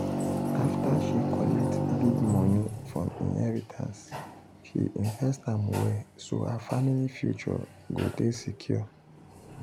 after she collect big money from inheritance she invest am well so her family future go dey secure.